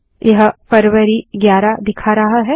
यह फरवारी 11 दिखा रहा है